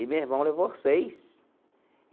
E meu irmão levou seis.